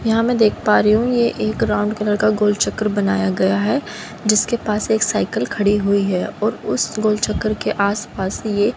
यहां मैं देख पा रही हूं ये एक राउंड कलर का गोल चक्कर बनाया गया है जिसके पास एक साइकल खड़ी हुई है और उस गोल चक्कर के आस पास ही ये --